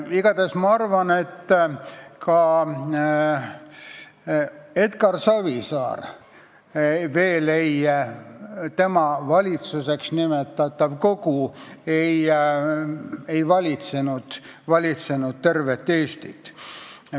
Igatahes ma arvan, et ka Edgar Savisaare valitsuseks nimetatav kogu veel ei valitsenud tervet Eestit.